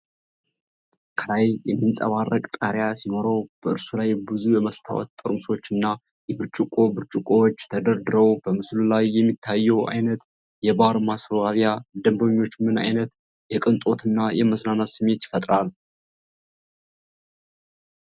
ከላይ የሚንጸባረቅ ጣሪያ ሲኖረው፣ በእርሱ ላይ ብዙ የመስታወት ጠርሙሶች እና የብርጭቆ ብርጭቆዎች ተደርድረው። በምስሉ ላይ የሚታየው ዓይነት የባር ማስዋቢያ ለደንበኞች ምን ዓይነት የቅንጦት እና የመዝናናት ስሜት ይፈጥራል?